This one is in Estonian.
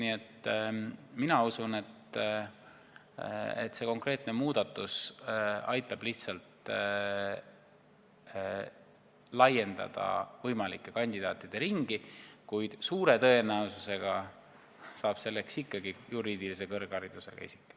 Nii et mina usun, et see konkreetne muudatus aitab lihtsalt laiendada võimalike kandidaatide ringi, kuid suure tõenäosusega saab valituks ikkagi juriidilise kõrgharidusega isik.